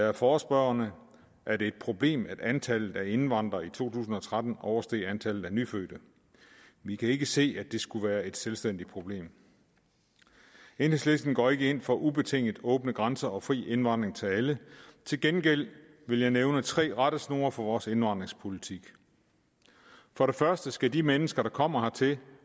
er forespørgerne er det et problem at antallet af indvandrere i to tusind og tretten oversteg antallet af nyfødte vi kan ikke se at det skulle være et selvstændigt problem enhedslisten går ikke ind for ubetinget åbne grænser og fri indvandring til alle til gengæld vil jeg nævne tre rettesnore for vores indvandringspolitik for det første skal de mennesker der kommer hertil